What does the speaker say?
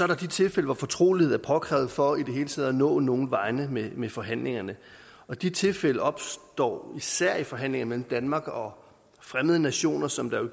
der de tilfælde hvor fortrolighed er påkrævet for i det hele taget at nå nogen vegne med med forhandlingerne de tilfælde opstår især i forhandlinger mellem danmark og fremmede nationer som der jo